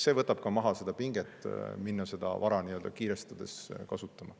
See võtaks ka maha pinget minna seda vara kiirustades kasutama.